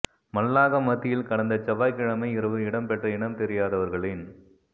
மல்லாகம் மத்தியில் கடந்த செவ்வாய்க்கிழமை இரவு இடம் பெற்ற இனம் தெரியாதவர்களின்